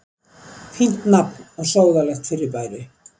Fínt nafn á sóðalegt fyrirbæri.